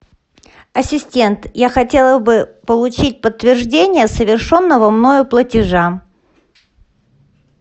ассистент я хотела бы получить подтверждение совершенного мною платежа